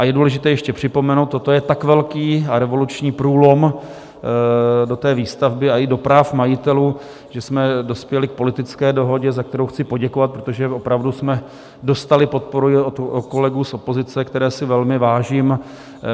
A je důležité ještě připomenout, toto je tak velký a revoluční průlom do té výstavby i do práv majitelů, že jsme dospěli k politické dohodě, za kterou chci poděkovat, protože opravdu jsme dostali podporu i od kolegů z opozice, které si velmi vážím.